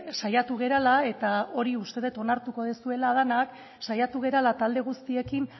saiatu garela eta hori uste dut onartuko duzuela denok saiatu garela talde guztiekin